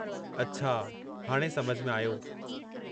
अछा, हाणे समझ में आयो।